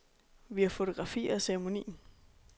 Vi har fotografier af ceremonien.